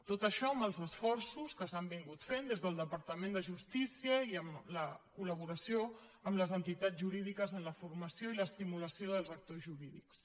tot això amb els esforços que s’han fet des del departament de justícia i amb la col·jurídiques en la formació i l’estimulació dels actors jurídics